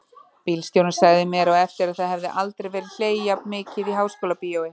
Bíóstjórinn sagði mér á eftir að það hefði aldrei verið hlegið jafn mikið í Háskólabíói.